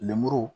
Lemuru